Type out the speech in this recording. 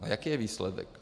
A jaký je výsledek?